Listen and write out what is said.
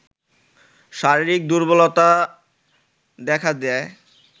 শারীরিক দুর্বলতা দেখা দেয়